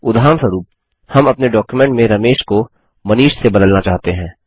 उदाहरणस्वरुप हम अपने डॉक्युमेंट में रमेश को मनीष से बदलना चाहते हैं